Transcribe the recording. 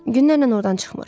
Günlərlə ordan çıxmır.